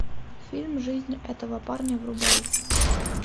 фильм жизнь этого парня врубай